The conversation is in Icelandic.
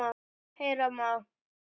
Heyra má